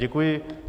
Děkuji.